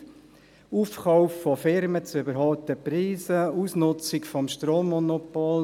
der Aufkauf von Firmen zu überhöhten Preisen, die Ausnutzung des Strommonopols.